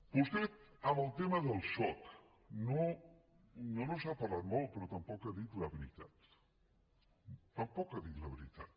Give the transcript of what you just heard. vostè del tema del soc no ens n’ha parlat molt però tampoc ha dit la veritat tampoc ha dit la veritat